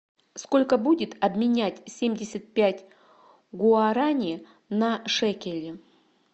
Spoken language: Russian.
сколько будет обменять семьдесят пять гуарани на шекели